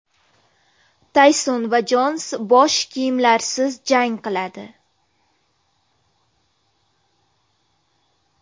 Tayson va Jons bosh kiyimlarsiz jang qiladi.